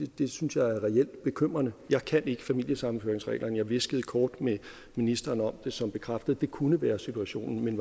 det synes jeg er reelt bekymrende jeg kan ikke familiesammenføringsreglerne men jeg hviskede kort med ministeren om det som bekræftede at det kunne være situationen men